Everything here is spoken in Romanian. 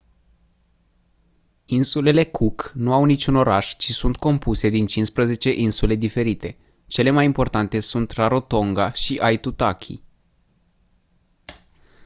insulele cook nu au niciun oraș ci sunt compuse din 15 insule diferite cele mai importante sunt rarotonga și aitutaki